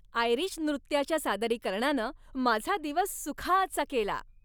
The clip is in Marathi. आयरिश नृत्याच्या सादरीकरणानं माझा दिवस सुखाचा केला.